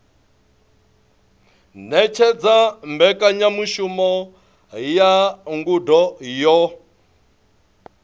ṅetshedza mbekanyamushumo ya ngudo yo